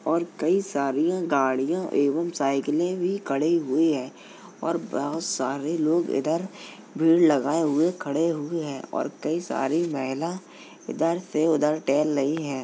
और कई सरियाँ गाड़ियाँ एवम साइकिलें भी खड़ी हुई है और बहुत सारे लोग इधर भीड़ लगाए हुए खड़े हुए हैं और कई सारी महिला इधर से उधर टहल रही हैं |